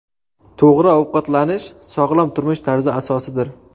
To‘g‘ri ovqatlanish – sog‘lom turmush tarzi asosidir.